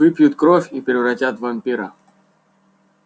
выпьют кровь и превратят в вампира